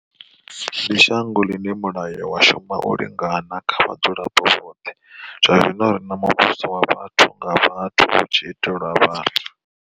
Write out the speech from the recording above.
Ndi shango ḽine mulayo wa shuma u lingana kha vha dzulapo vhoṱhe, zwa zwino ri na mu vhuso wa vhathu nga vhathu hu tshi itelwa vhathu.